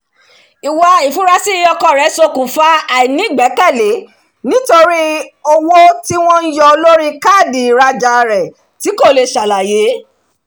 ìwà ifurasi ọkọ rẹ̀ ṣokùnfà àìnígbẹ́kẹ̀lé nítorí owó tí wọ́n ń yọ lórí káàdì ìrajà tí kò lè ṣàlàyé